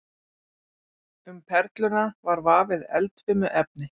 Um perluna var vafið eldfimu efni.